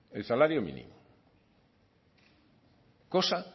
el salario mínimo cosa